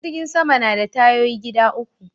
Jirgin Sama na da tayoyi gida uku